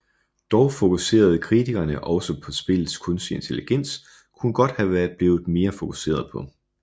Dog fokuserede kritikerne også på at spillets kunstige intelligens kunne godt have været blevet mere fokuseret på